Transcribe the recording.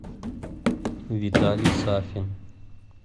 виталий сафин